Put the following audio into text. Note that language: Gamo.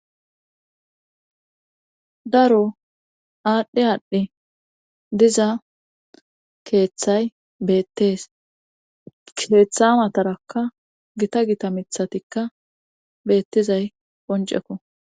Daro aadhi aadhi diza keeththay beettees keeththa matarakka gita gita miththatikka beettizay qonccekko.